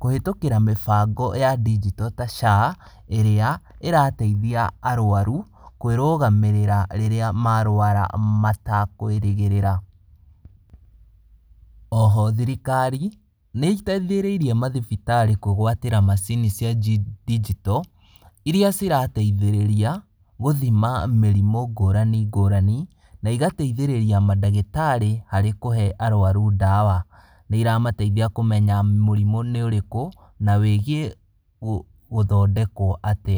kũhĩtũkĩra mĩbango ya ndinjito ta SHA ĩrĩa ĩrateithia arwaru kwĩrũgamĩrĩra rĩrĩa marwara matakwĩrĩgĩrĩra. Oho thirikari nĩiteithĩrĩirie mathibitarĩ kwĩgwatĩra macini cia ndinjito, iria cirateithĩrĩria gũthima mĩrimũ ngũrani ngũrani na igatheithĩrĩria madagĩtarĩ harĩ kũhe arwaru ndawa. Nĩiramateithia kũmenya mũrimũ nĩ ũrĩkũ, na wĩgiĩ gũthondekwo atĩa.